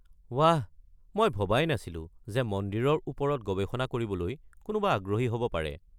ৱাহ, মই ভবাই নাছিলো যে মন্দিৰৰ ওপৰত গৱেষণা কৰিবলৈ কোনোবা আগ্ৰহী হ’ব পাৰে।